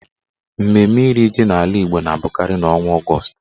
Mmemme iri ji n'ala Igbo na abụkarị n'ọnwa Ọgọọst.